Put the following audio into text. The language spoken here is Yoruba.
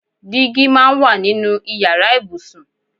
Dígí máa ń wà nínú ìyára ibùsùn.